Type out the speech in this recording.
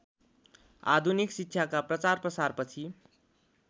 आधुनिक शिक्षाका प्रचारप्रसारपछि